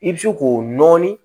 I bɛ se k'o nɔɔni